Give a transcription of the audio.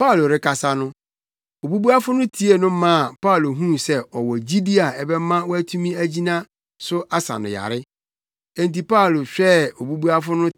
Paulo rekasa no, obubuafo no tiee no maa Paulo huu sɛ ɔwɔ gyidi a ɛbɛma watumi agyina so asa no yare. Enti Paulo hwɛɛ obubuafo no